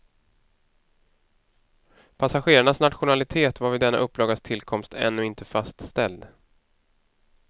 Passagerarnas nationalitet var vid denna upplagas tillkomst ännu inte fastställd.